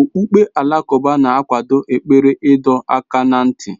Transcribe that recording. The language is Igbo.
Okpukpe Alakụba na-akwado ekpere ịdọ aka ná ntị